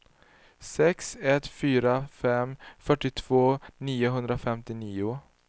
sex ett fyra fem fyrtiotvå niohundrafemtionio